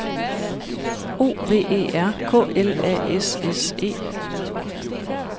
O V E R K L A S S E